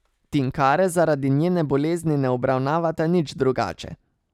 Tinkare zaradi njene bolezni ne obravnavata nič drugače.